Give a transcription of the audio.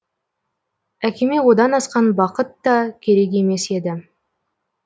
әкеме одан асқан бақыт та керек емес еді